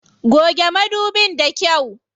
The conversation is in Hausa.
Goge madubin da kyau.